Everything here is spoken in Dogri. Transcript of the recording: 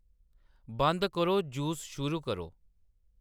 बंद करो जूस शुरू करो